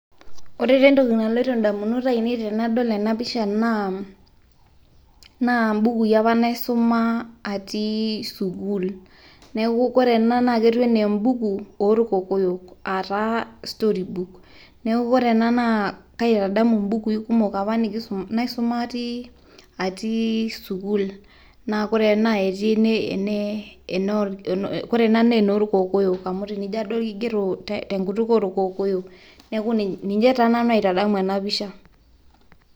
ore taa entoki naloito damunot ainei tenadol ena pisha, naa bukui apa naisuma atii sukuul, neeku ore ena naa ketiu anaa ebuku oolkokoyok, aataa storybook neeku ore ena naa kaitadamu ibukui kumok apa naisuma atii sukuul. naa ore ena ketii oree ena naa enoorkokoyok, kigero te nkutuk oorkokoyok, neeeku ninye taa nanu aitadamu ena pisha.